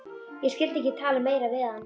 Ég skyldi ekki tala meira við hann.